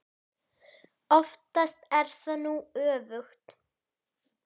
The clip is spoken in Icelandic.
Oftast er það nú öfugt.